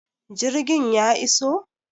Jirgin ya iso?